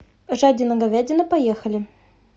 жадина говядина поехали